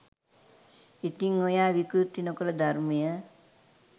ඉතින් ඔයා විකෘති නොකල ධර්මය